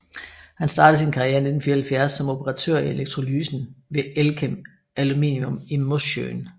Han startede sin karriere i 1974 som operatør i elektrolysen ved Elkem Aluminium i Mosjøen